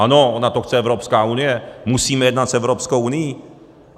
Ano, ona to chce Evropská unie, musíme jednat s Evropskou unií.